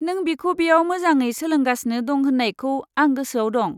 नों बिखौ बेयाव मोजाङै सोलोंगासिनो दं होन्नायखौ आं गोसोआव दं।